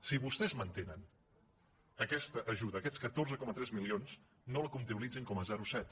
si vostès mantenen aquesta ajuda aquests catorze coma tres milions no la comptabilitzin com a zero coma set